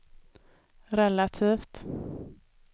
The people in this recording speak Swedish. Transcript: relativt